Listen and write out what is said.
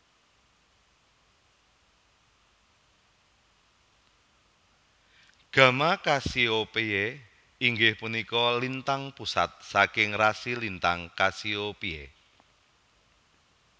Gamma Cassiopeiae inggih punika lintang pusat saking rasi lintang Cassiopeiae